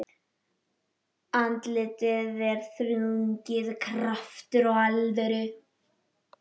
Andlitið er þrungið krafti og alvöru.